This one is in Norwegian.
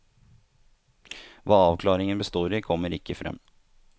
Hva avklaringen består i, kommer ikke frem.